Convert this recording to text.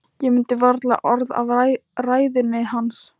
Ég mundi varla orð af ræðunni hans.